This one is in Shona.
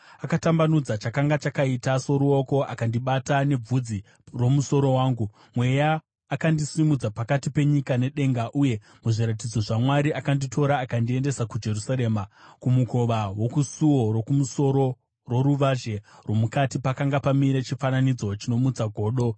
Akatambanudza chakanga chakaita soruoko akandibata nebvudzi romusoro wangu. Mweya akandisimudza pakati penyika nedenga uye muzviratidzo zvaMwari akanditora akandiendesa kuJerusarema, kumukova wokusuo rokumusoro roruvazhe rwomukati, pakanga pamire chifananidzo chinomutsa godo.